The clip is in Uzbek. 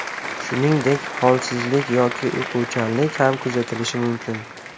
Shuningdek, holsizlik yoki uyquchanlik ham kuzatilishi mumkin.